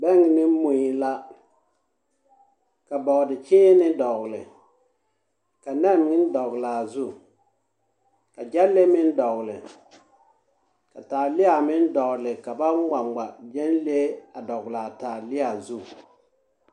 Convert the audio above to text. bɛŋ ne mui la. Ka bɔɔdekyẽẽnee dɔgele. Ka nɛne meŋ dɔgele a zu. Ka gyɛle meŋ dɔgele. Ka taalea meŋ dɔgele ka ba ŋmaŋma gyenlee dɔgele a taalea zu.